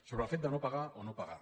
sobre el fet de no pagar o no pagar